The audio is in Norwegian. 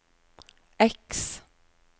X